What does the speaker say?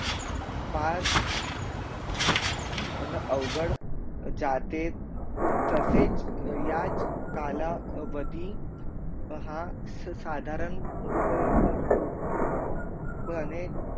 फार न अवगड जाते तसेच याच काला वधी हा साधारण प्रणे